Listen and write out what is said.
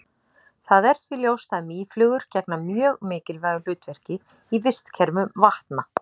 Það er því ljóst að mýflugur gegna mjög mikilvægu hlutverki í vistkerfum vatna.